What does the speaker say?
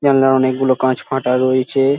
জানলায় অনেকগুলো কাঁচ ফাঁটা রয়েছে-এ--